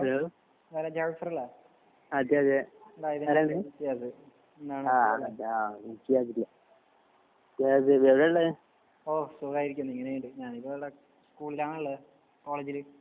hello Jafar അല്ലേ